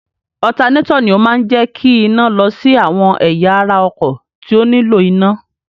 Ọ̀tanátọ̀ ni ó máa ń jẹ́ kí iná lọ sí àwọn ẹ̀yà ara ọkọ̀ tí ó nílò iná.